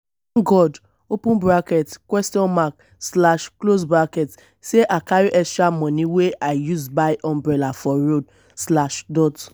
tank god sey i carry extra moni wey i use buy umbrella for road.